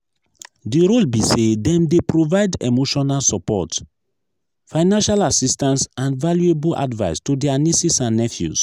di role be say dem dey provide emotional support financial assistance and valuable advice to dia nieces and nephews.